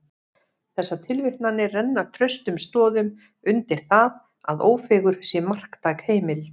Þessar tilvitnanir renna traustum stoðum undir það, að Ófeigur sé marktæk heimild.